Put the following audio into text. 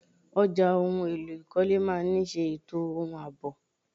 Ọjà ohun èlò ìkọ́lé máa ni ṣe ètò ohun àbọ̀.